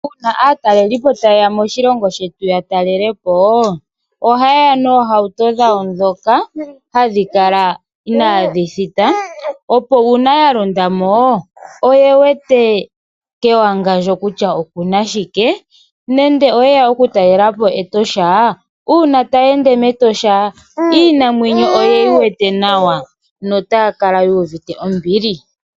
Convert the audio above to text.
Uuna atalelipo tayeya moshilongo shetu yatalelepo ,ohayeya nohawuto dhawo dhoka hadhikala inadhithita opo una yalondamo oyewete kutya kewangandjo okuna shike nande, nande oyeya oku talelapo Etosha una tayende metosha Iinamwenyo oyeyi wetee nawa notakala yuvite ombili.